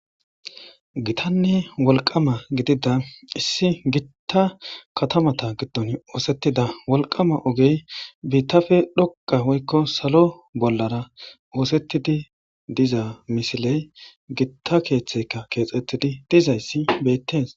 gitanne wolqama gidida issi gitta katamata giddon oosettida wolqama ogey biittafe dhoqa hoykko salo bollara oosettidi diza misiley gitta keeththeka keexettidi dizayssi bettes